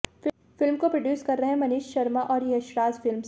film को produce कर रहे हैं मनीष शर्मा और यशराज फिल्म्स